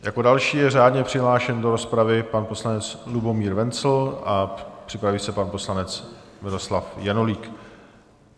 Jako další je řádně přihlášen do rozpravy pan poslanec Lubomír Wenzl a připraví se pan poslanec Miloslav Janulík.